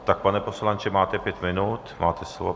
Tak, pane poslanče, máte pět minut, máte slovo.